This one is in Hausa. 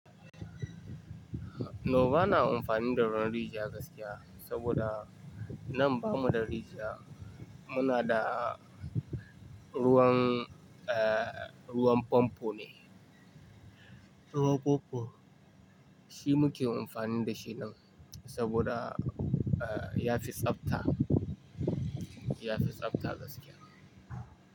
No bana amfani da ruwan rijiya gaskiya saboda nan bamu da rijiya, muna da ruwan, ruwan famfo ne. Ruwan famfo shi muke amfani da shi nan saboda, eh, ya fi tsabta, ya fi tsabta gaskiya.